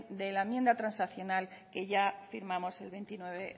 de la enmienda transaccional que ya firmamos el veintinueve